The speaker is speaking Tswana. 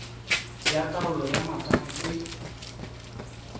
ya taolo ya matamo e